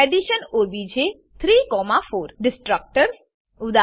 addition OBJ 3 4 destructors destructors ઉદા